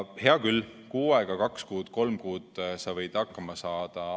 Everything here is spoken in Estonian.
Hea küll, kuu aega, kaks kuud, kolm kuud sa võid hakkama saada.